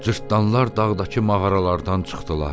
Cırtdanlar dağdakı mağaralardan çıxdılar.